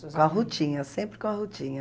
Com a Rutinha, sempre com a Rutinha.